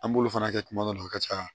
An b'olu fana kɛ kuma dɔw la a ka ca